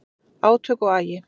Átök og agi